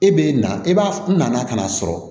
E bɛ na e b'a na ka n'a sɔrɔ